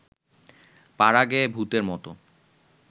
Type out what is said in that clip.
পাড়াগেঁয়ে ভূতের মত